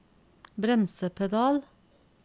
bremsepedal